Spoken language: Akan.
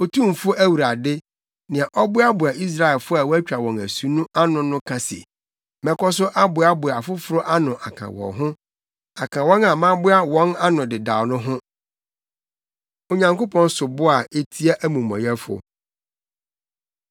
Otumfo Awurade, nea ɔboaboa Israelfo a wɔatwa wɔn asu ano no ka se: “Mɛkɔ so aboaboa afoforo ano aka wɔn ho aka wɔn a maboa wɔn ano dedaw no ho.” Onyankopɔn Sobo A Etia Amumɔyɛfo